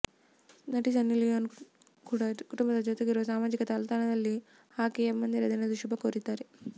ನಟಿ Sunny Leone ಕೂಡ ಕುಟುಂಬದ ಜೊತೆಗಿರುವ ಸಾಮಾಜಿಕ ಜಾಲತಾಣದಲ್ಲಿ ಹಾಕಿ ಅಪ್ಪಂದಿರ ದಿನದ ಶುಭಾಶಯ ಕೋರಿದ್ದಾಳೆ